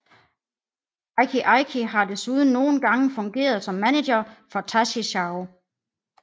Eiki Eiki har desuden nogle gange fungeret som manager for Taishi Zaou